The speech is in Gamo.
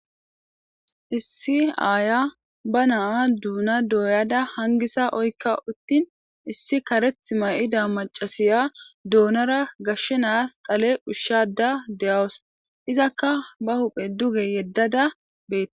Issi aaya ba naa duuna dooyada hangisa oykka uttin issi kareth mayida macasiya duunara gashshenas xale ushshada de'awus izakka ba huphe duge yeddada beete